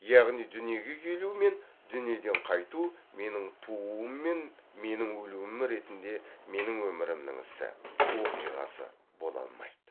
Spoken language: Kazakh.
яғни дүниеге келу мен дүниеден қайту менің тууым мен менің өлуім ретінде менің өмірімнің ісі оқиғасы бола алмайды